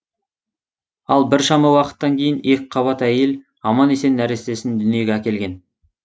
ал біршама уақыттан кейін екіқабат әйел аман есен нәрестесін дүниеге әкелген